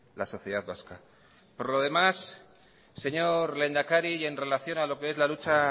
la sociedad vasca por lo demás señor lehendakari y en relación a lo que es la lucha